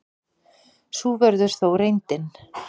Sú verður þó reyndin.